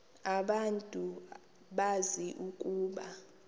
abantu bazi ukuba